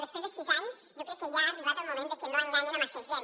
després de sis anys jo crec que ha arribat el moment de que no enganyen massa gent